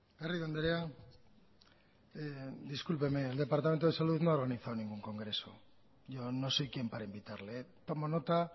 garrido andrea discúlpeme el departamento de salud no ha organizado ningún congreso yo no soy quien para invitarle tomo nota